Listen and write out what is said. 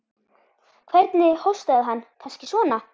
Hvernig hóstaði hann. kannski svona?